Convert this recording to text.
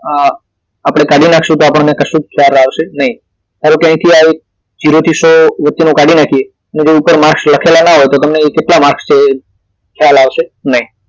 અ આપડે કાઢી નાખશું તો આપણને કશું ખ્યાલ આવશે નહીં ધારો કે અહીથી આ જેરો થી સો વચ્ચે નું કાઢી નાખીએ તો ઉપર માર્કસ લખેલા ના હોય તો તમને અહી કેટલા માર્કસ છે એ ખ્યાલ આવશે નહિ